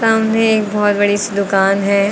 सामने एक बहुत बड़ी सी दुकान है।